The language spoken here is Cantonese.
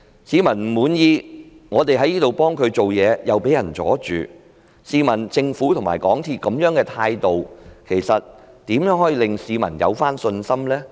市民不滿意，我們在本會替他們採取行動，又遭到阻撓，試問政府和港鐵公司這樣的態度，如何令市民重拾信心呢？